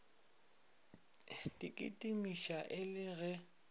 di kitimiša e le ge